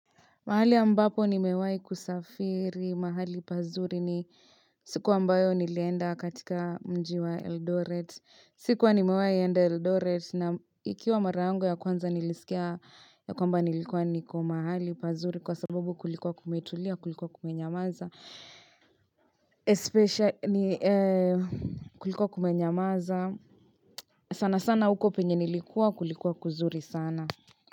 Mahali ambapo nimewahi kusafiri, mahali pazuri ni siku ambayo nilienda katika mji wa Eldoret. Sikuwa nimewahi enda Eldoret na ikiwa mara yangu ya kwanza nilisikia ya kwamba nilikuwa niko mahali pazuri kwa sababu kulikuwa kumetulia, kulikuwa kumenyamaza. Especia ni kulikuwa kumenyamaza sana sana huko penye nilikuwa kulikuwa kuzuri sana.